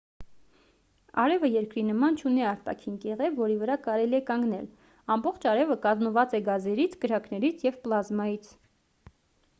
արևը երկրի նման չունի արտաքին կեղև որի վրա կարելի է կանգնել ամբողջ արևը կազմված է գազերից կրակներից և պլազմայից